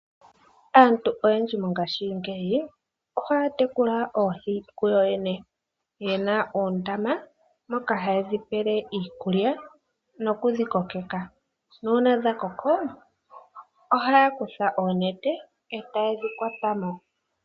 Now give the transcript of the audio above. Aantu oyendji mongaashingeyi ohaya tekula oohi kuyoyene ye na oondama moka haye dhi pele iikulya noku dhi kokeka nuuna dha koko ohaya kutha oonete etaye dhi kwata mo.